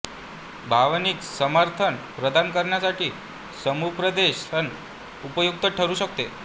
भावनिक समर्थन प्रदान करण्यासाठी समुपदेशन उपयुक्त ठरू शकते